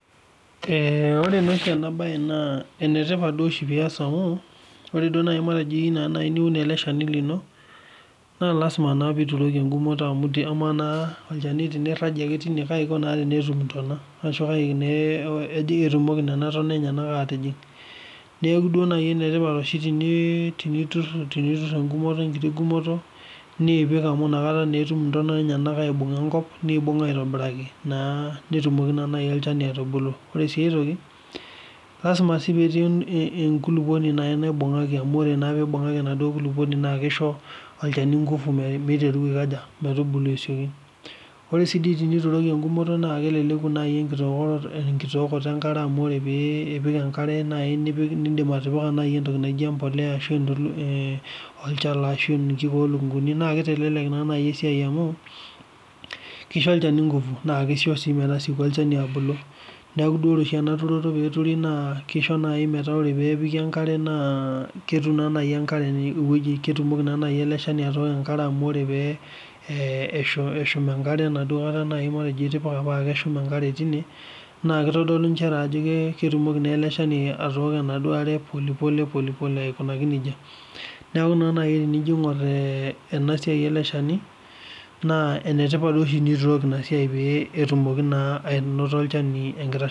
Ore nashi enabaye naa enetipat dei oshi piyas amu ore duo naaji matejo teniyeu niun ale ilshani lino naa lasima naa olchani teniragie naa kaji eiko na tenitum ashu entan enyena aatijing' neaku enkumoto niipik amu inakata etumoki intana aibung'a enkop aitobiraki naa ,netumoki naa nai olchani atubulu. Ore sii aitoki, lasima sii petii enkuluponi naibung'aki amu eibung'aki enaduo nkuluponi ashu olchani meitaru aikoja metubulu aishooki. Ore sii dei tenituroki engumoto naa keleleku nai enkitookoto enkare amu ore pii ipik enkare nai nindim atipika nai entoki naijo empolea ashu olchala ashu nkulupo nkunii naa keitelelek naa nai esiai amuu keisho ilchani engufu naa keisho sii metasieku olchani abulu ,neaku duo Ore oshi ena turoto peeturi naa keisho nai metaa Ore peepiki enkare naa ketum naa nai enkare eweji, ketumoli naa nai ale ilshani atooko enkare amu ore pee eshum enkare enaduo nkata nai matejo itipika paa keshuma enkare teine naa keitodolu inchere ajo ketumoki naa ele ilchani atooko enaduo are polepole aikunaki neja. Neaku naake naji enijo aing'or ena siai ele ilshani naa enetipat oshi ena siai pee etumoki naa anoto ilshani enkitashoto.